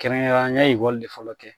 Kɛrɛnkɛrɛnna n ye de fɔlɔ kɛ